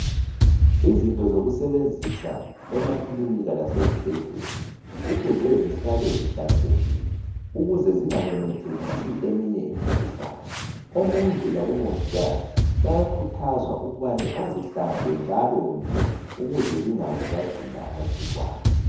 Izinto zokusebenzisa emakilinki lasezibhedlela kufuze zihlale zihlanzekile ukuze zingamemethekisi eminye imikhuhlane. Omongi labomongikazi bayakhuthazwa ukubana bazihlambe njalonje ukuze zingaze zagcina amagcikwane.